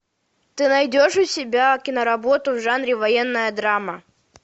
ты найдешь у себя киноработу в жанре военная драма